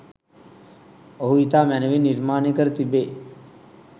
ඔහු ඉතා මැනවින් නිර්මාණය කර තිබේ.